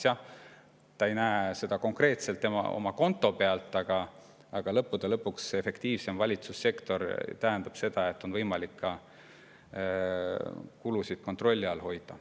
Jah, ta ei näe seda konkreetselt oma konto pealt, aga lõppude lõpuks efektiivsem valitsussektor tähendab seda, et on võimalik kulusid kontrolli all hoida.